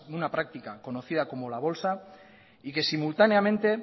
una práctica conocida como la bolsa y que simultáneamente